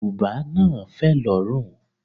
Bùbá náà fẹ̀ lórùn.